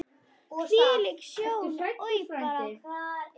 Hvílík sjón, oj bara!